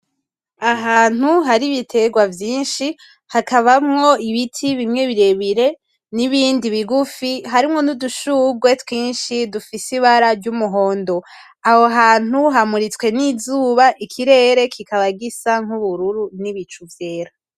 Ahantu hari ibiterwa vyinshi hakabamwo ibiti bimwe birebire n'ibindi bigufi harimo nudushugwe twinshi dufise ibara ry'umuhondo. Ahohantu hamuritswe n'izuba ikirere kikaba gisa nk'ubururu n'ibicu vyera.